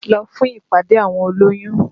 Lọ fún ìpàdé àwọn olóyún!